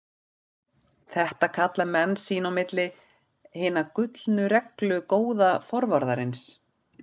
Þetta kalla menn sín á milli Hina gullnu reglu góða forvarðarins.